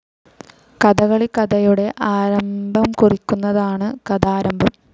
കഥകളി കഥയുടെ ആരംഭംകുറിക്കുന്നതാണ് കഥാരംഭം.